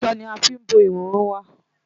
Aṣọ la fí ń bo ìhòhò wa.